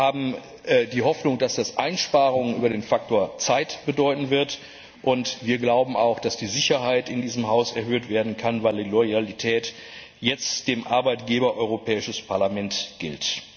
Wir haben die Hoffnung, dass das Einsparungen über den Faktor Zeit bedeuten wird, und wir glauben auch, dass die Sicherheit in diesem Haus erhöht werden kann, weil die Loyalität jetzt dem Arbeitgeber Europäisches Parlament gilt.